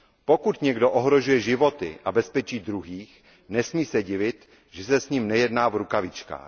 Pokud někdo ohrožuje životy a bezpečí druhých, nesmí se divit, že se s ním nejedná v rukavičkách.